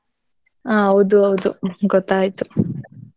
ಹ್ಮ್. ಹೌದು ಹೌದು ಗೊತ್ತಾಯ್ತು.